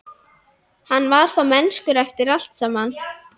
Hann var þá mennskur eftir allt saman.